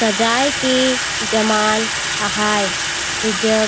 ताजाए के जमाल आहैं एजग--